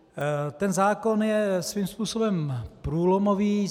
Ten zákon je svým způsobem průlomový.